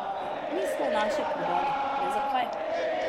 Mi smo naše prodali, le zakaj?